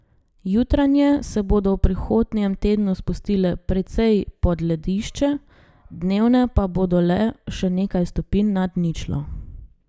Jutranje se bodo v prihodnjem tednu spustile precej pod ledišče, dnevne pa bodo le še nekaj stopinj nad ničlo.